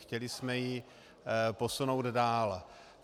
Chtěli jsme ji posunout dál.